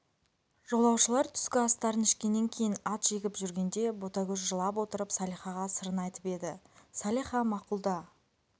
жолаушылар түскі астарын ішкеннен кейін ат жегіп жүргенде ботагөз жылап отырып салихаға сырын айтып еді салиха мақұл да